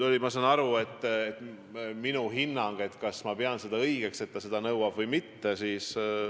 Ma saan aru, et küsiti minu hinnangut, kas ma pean seda õigeks, et ta seda nõuab, või mitte.